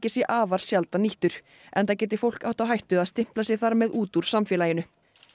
sé afar sjaldan nýttur enda geti fólk átt á hættu að stimpla sig þar með út úr samfélaginu